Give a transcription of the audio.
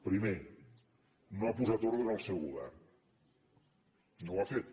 primer no ha posat ordre en el seu govern no ho ha fet